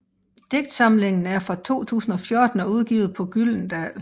Digtsamlingen er fra 2014 og udgivet på Gyldendal